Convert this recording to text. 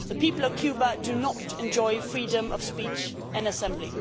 The people of Cuba do not enjoy freedom of speech and assembly.